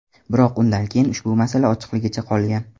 Biroq undan keyin ushbu masala ochiqligicha qolgan.